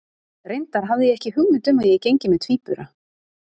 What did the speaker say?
Reyndar hafði ég ekki hugmynd um að ég gengi með tvíbura.